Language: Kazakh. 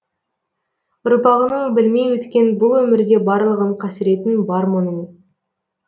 ұрпағының білмей өткен бұл өмірде барлығын қасіретін бар мұның